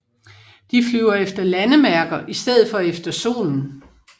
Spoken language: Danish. De flyver efter landemærker i stedet for efter solen